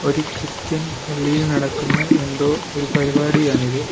ഒരു ക്രിസ്ത്യൻ പള്ളിയിൽ നടക്കുന്ന എന്തോ ഒരു പരിപാടിയാണിത്.